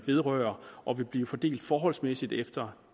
vedrører og vil blive fordelt forholdsmæssigt efter